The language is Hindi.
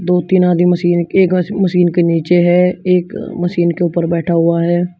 दो तीन आदमी मशीन एक म मशीन के नीचे है एक मशीन के ऊपर बैठा हुआ है।